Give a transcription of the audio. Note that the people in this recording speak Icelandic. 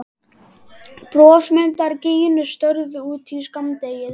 Brosmildar gínur störðu út í skammdegið.